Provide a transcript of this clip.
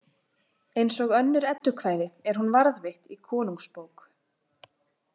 Eins og önnur eddukvæði er hún varðveitt í Konungsbók .